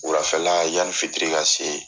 Wulafɛla yanni fitiri ka se